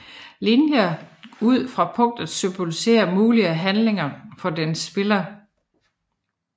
Linjerne ud fra punktet symboliserer mulige handlinger for denne spiller